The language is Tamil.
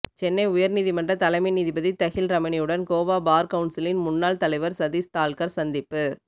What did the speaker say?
சென்னை உயர் நீதிமன்ற தலைமை நீதிபதி தஹில் ரமணியுடன் கோவா பார் கவுன்சிலின் முன்னாள் தலைவர் சதீஷ் தால்கர் சந்திப்பு